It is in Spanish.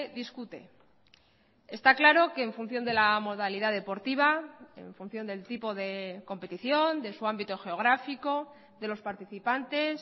discute está claro que en función de la modalidad deportiva en función del tipo de competición de su ámbito geográfico de los participantes